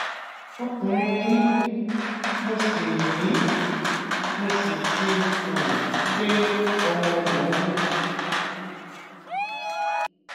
ọkùnrin ni mí mo sì mí mo sì ti um pé ọmọ ọgbọn ọdún